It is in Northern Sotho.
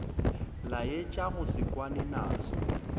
laetša go se kwane naso